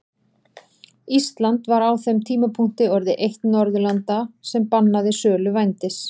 Ísland var á þeim tímapunkti orðið eitt Norðurlanda sem bannaði sölu vændis.